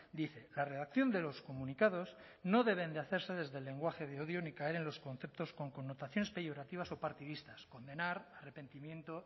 dice la redacción de los comunicados no deben de hacerse desde el lenguaje de odio ni caer en los conceptos con connotaciones peyorativas o partidistas condenar arrepentimiento